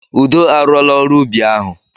Udo a rụọla ọrụ ubi ahụ.